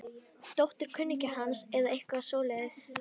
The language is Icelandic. Dóttir kunningja hans eða eitthvað svoleiðis.